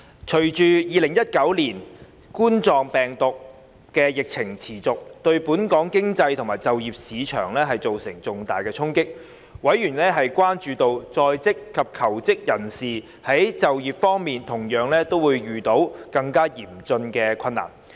隨着2019冠狀病毒病的疫情持續，對本港經濟及就業市場造成重大衝擊。委員關注到，在職及求職人士在就業方面同樣會遇到更嚴峻的困難。